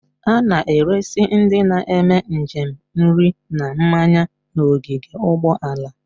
A na-eresi ndị na-eme njem nri na mmanya n'ogige ụgbọala.